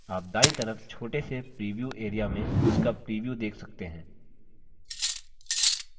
आप दायीं तरफ छोटे से प्रीव्यू area में इसका प्रीव्यू देख सकते हैं